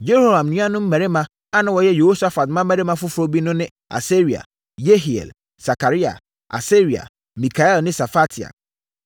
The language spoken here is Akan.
Yehoram nuanom mmarima a na wɔyɛ Yehosafat mmammarima foforɔ bi no ne Asaria, Yehiel, Sakaria, Asaria, Mikael ne Sefatia.